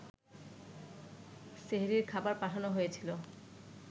সেহরির খাবার পাঠানো হয়েছিল